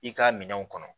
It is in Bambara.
I ka minɛnw kɔnɔ